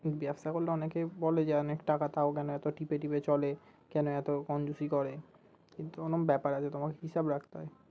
ব্যবসা করে অনেকে বলে যে অনেক টাকা তাও কেন এত টিপে টিপে চলে কেন এত করে কিন্তু অন্য ব্যাপার আছে তোমাকে হিসাব রাখতে হয়